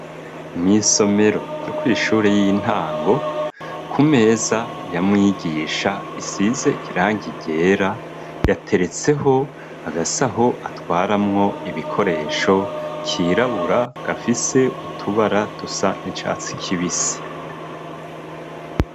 Mwisomero ryo kw'ishuri y'intango ku meza yamwigisha isize irangi ryera yateretseho agasaho atwaramwo ibikoresho kirabura gafise utubara dusa n'icatsi kibisi.